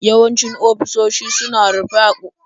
Yawancin ofisoshi suna rufe a ranakun ƙarshen mako.